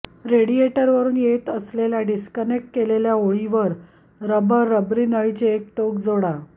रेडिएटरवरून येत असलेल्या डिस्कनेक्ट केलेल्या ओळीवर रबर रबरी नळीचे एक टोक जोडा